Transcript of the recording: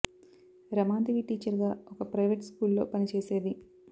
Ramadevi teacher గా ఒక private school లో పని చేసేది